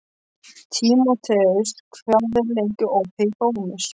Tímoteus, hvað er lengi opið í Bónus?